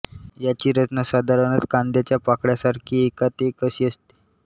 याची रचना साधारणतः कांद्याच्या पाकळ्यांसारखी एकात एक अशी असते